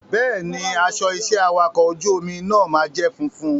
Bẹ́ẹ̀ni, aṣọ iṣẹ́ awakọ̀ ojú omi náà máa jẹ́ funfun.